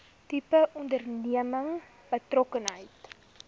tipe onderneming betrokkenheid